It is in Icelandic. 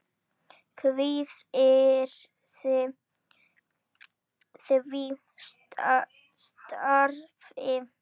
Kvíðirðu því starfi?